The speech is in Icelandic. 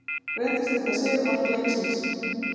Reyndist þetta sigurmark leiksins.